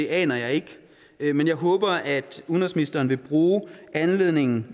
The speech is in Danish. aner jeg ikke men jeg håber at udenrigsministeren vil bruge anledningen